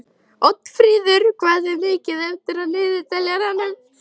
Oddfríður, hvað er mikið eftir af niðurteljaranum?